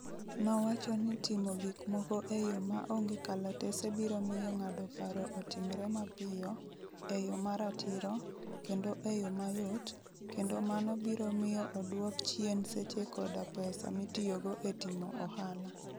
Nowacho ni timo gik moko e yo ma onge kalatese biro miyo ng'ado paro otimre mapiyo, e yo ma ratiro, kendo e yo mayot, kendo mano biro miyo odwok chien seche koda pesa mitiyogo e timo ohala.